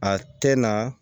A tɛ na